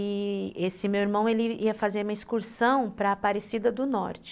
E esse meu irmão, ele ia fazer uma excursão para Aparecida do Norte.